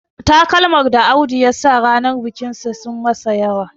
Takalman da Audu ya saka ranar bikinsa sun yi masa yawa